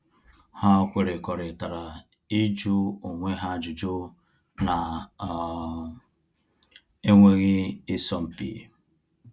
Ha kwerekọritara ịjụ onwe ha ajụjụ na um enweghị isọ mpi